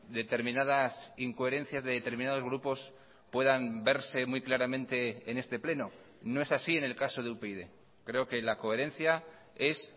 determinadas incoherencias de determinados grupos puedan verse muy claramente en este pleno no es así en el caso de upyd creo que la coherencia es